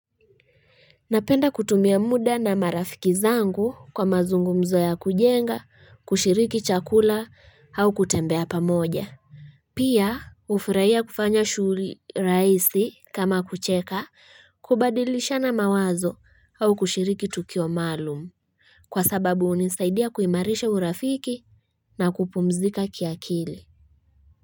Napenda kutumia muda na marafiki zangu kwa mazungumzo ya kujenga, kushiriki chakula au kutembea pa moja. Pia ufuraia kufanya shuri raisi kama kucheka kubadilishana mawazo au kushiriki tukio malum. Kwa sababu unisaidia kuimarisha urafiki na kupumzika kiakili.